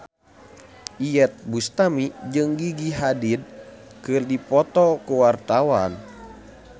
Iyeth Bustami jeung Gigi Hadid keur dipoto ku wartawan